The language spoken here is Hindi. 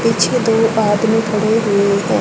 पीछे दो आदमी खड़े हुए हैं।